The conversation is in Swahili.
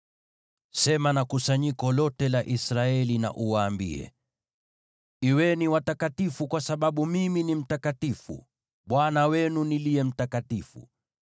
“Sema na kusanyiko lote la Israeli na uwaambie: ‘Kuweni watakatifu, kwa kuwa mimi, Bwana Mungu wenu, ni mtakatifu.